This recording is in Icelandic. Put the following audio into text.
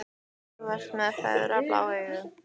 Þú ert með svo ferlega blá augu.